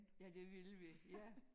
Ja det ville vi ja